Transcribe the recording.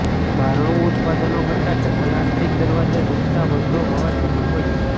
બારણું ઉત્પાદનો કરતાં ડબલ આંતરિક દરવાજા ઝૂલતા વધુ હવાચુસ્ત હોય છે